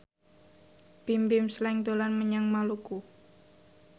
Bimbim Slank dolan menyang Maluku